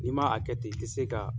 N'i man a kɛ ten i tɛ se ka